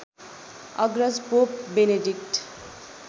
अग्रज pope Benedict